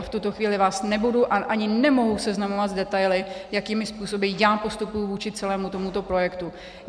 A v tuto chvíli vás nebudu a ani nemohu seznamovat s detaily, jakými způsoby já postupuji vůči celému tomuto projektu.